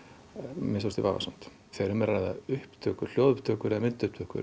minnsta kosti vafasamt þegar um er að ræða hljóðupptökur hljóðupptökur eða